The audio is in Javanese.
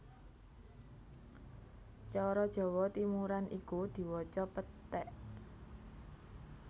Cara Jawa Timuran iku diwaca péték